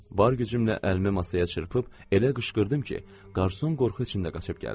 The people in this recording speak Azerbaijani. Var gücümlə əlimi masaya çırpıb elə qışqırdım ki, qarsun qorxu içində qaçıb gəldi.